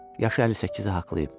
Yaşı 58-i haqlayıb.